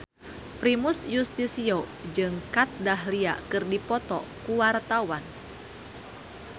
Primus Yustisio jeung Kat Dahlia keur dipoto ku wartawan